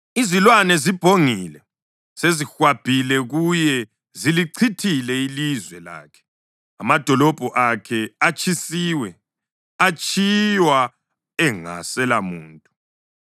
Izilwane zibhongile; sezihwabhile kuye. Zilichithile ilizwe lakhe; amadolobho akhe atshisiwe, atshiywa engaselamuntu.